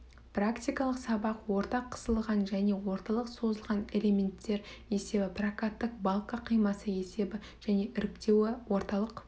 практикалық сабақ орта қысылған және орталық созылған элементтер есебі прокаттық балка қимасы есебі және іріктеуі орталық